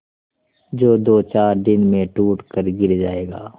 जो दोचार दिन में टूट कर गिर जाएगा